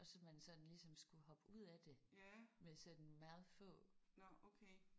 Og så man sådan ligesom skulle hoppe ud af det med sådan meget få